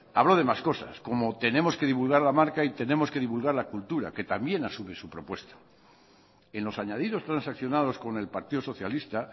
habló de más cosas como tenemos que divulgar la marca y tenemos que divulgar la cultura que también asume su propuesta en los añadidos transaccionados con el partido socialista